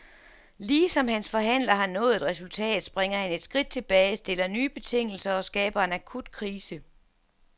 Lige som hans forhandler har nået et resultat, springer han et skridt tilbage, stiller nye betingelser, og skaber en akut krise.